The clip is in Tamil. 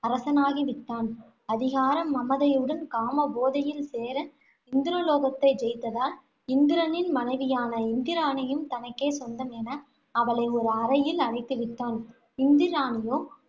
அரசனாகி விட்டான். அதிகார மமதையுடன், காம போதையில் சேர, இந்திரலோகத்தை ஜெயித்ததால், இந்திரனின் மனைவியான இந்திராணியும் தனக்கே சொந்தம் என அவளை ஒரு அறையில் அடைத்து விட்டான். இந்திராணியோ